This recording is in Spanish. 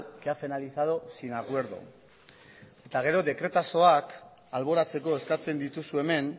que ha finalizado sin acuerdo eta gero dekretazoak alboratzeko eskatzen dituzu hemen